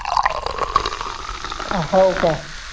हाव काय